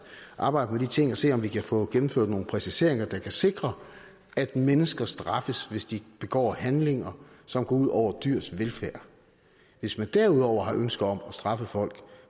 arbejde med de ting og se om vi kan få gennemført nogle præciseringer der kan sikre at mennesker straffes hvis de begår handlinger som går ud over dyrs velfærd hvis man derudover har ønsker om at straffe folk